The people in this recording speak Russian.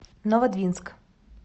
новодвинск